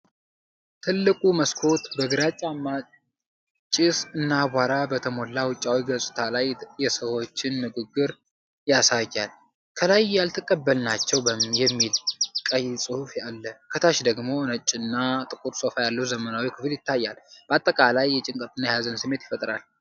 ትልቁ መስኮት በግራጫማ ጭስ እና አቧራ በተሞላ ውጫዊ ገጽታ ላይ የሰዎችን ግርግር ያሳያል። ከላይ "ያልተቀበልናቸው" የሚል ቀይ ጽሑፍ አለ። ከታች ደግሞ ነጭና ጥቁር ሶፋ ያለው ዘመናዊ ክፍል ይታያል፤ በአጠቃላይ የጭንቀትና የሀዘን ስሜትን ይፈጥራል።